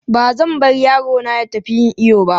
Ba zan bar yaro na ya tafi yin iyo ba.